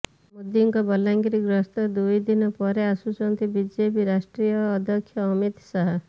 ମୋଦିଙ୍କ ବଲାଙ୍ଗୀର ଗସ୍ତର ଦୁଇ ଦିନ ପରେ ଆସୁଛନ୍ତି ବିଜେପି ରାଷ୍ଟ୍ରୀୟ ଅଧ୍ୟକ୍ଷ ଅମିତ ଶାହା